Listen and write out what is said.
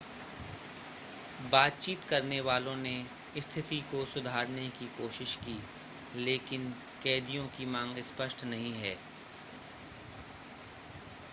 बातचीत करने वालों ने स्थिति को सुधारने की कोशिश की लेकिन कैदियों की मांग स्पष्ट नहीं है